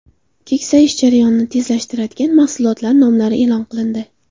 Keksayish jarayonini tezlashtiradigan mahsulotlar nomlari e’lon qilindi.